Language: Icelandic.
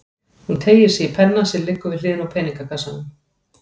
Hún teygir sig í penna sem liggur við hliðina á peningakassanum.